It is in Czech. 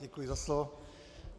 Děkuji za slovo.